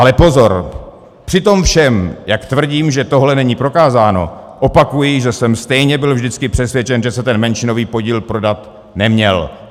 Ale pozor, při tom všem, jak tvrdím, že tohle není prokázáno, opakuji, že jsem stejně byl vždycky přesvědčen, že se ten menšinový podíl prodat neměl.